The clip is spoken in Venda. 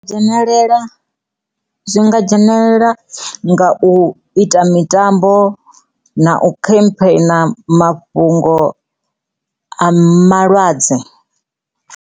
Dzhenelela zwi nga dzhenelela nga u ita mitambo na u khampheina mafhungo a malwadze.